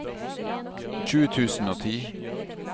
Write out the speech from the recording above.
tjue tusen og ti